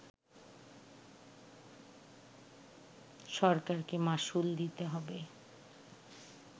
সরকারকে মাশুল দিতে হবে